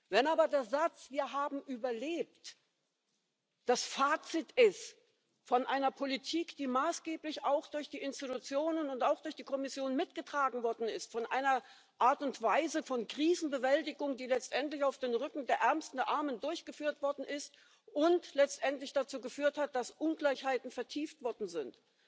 Wenn aber der Satz Wir haben überlebt das Fazit einer Politik ist, die maßgeblich auch durch die Institutionen und auch durch die Kommission mitgetragen worden ist, von einer Art und Weise von Krisenbewältigung, die letztendlich auf den Rücken der Ärmsten der Armen durchgeführt worden ist und letztendlich dazu geführt hat, dass Ungleichheiten vertieft worden sind,